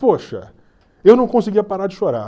Poxa, eu não conseguia parar de chorar.